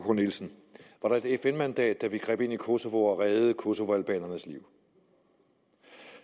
k nielsen var der et fn mandat da vi greb ind i kosovo og reddede kosovoalbanerne liv og